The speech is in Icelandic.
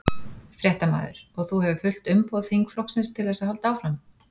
Fréttamaður: Og þú hefur fullt umboð þingflokksins til þess að halda áfram?